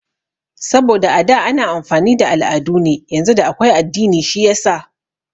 Saboda a da ana amfani da al'adu ne yanzu da akwai addini shiyasa